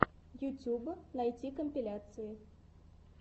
ютуб найти компиляции